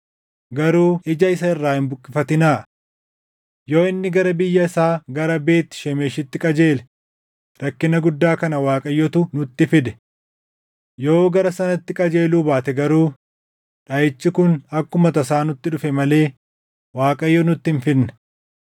garuu ija isa irraa hin buqqifatinaa. Yoo inni gara biyya isaa gara Beet Shemeshitti qajeele rakkina guddaa kana Waaqayyotu nutti fide. Yoo gara sanatti qajeeluu baate garuu dhaʼichi kun akkuma tasaa nutti dhufe malee Waaqayyo nutti hin fidne.”